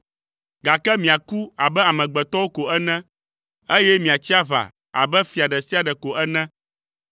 gake miaku abe amegbetɔwo ko ene eye miatsi aʋa abe fia ɖe sia ɖe ko ene.”